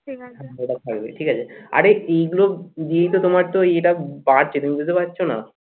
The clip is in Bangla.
ওটা থাকবে ঠিক আছে আরে এইগুলো দিয়েই তো তোমার তো এটা বাড়ছে তুমি বুঝতে পারছো না?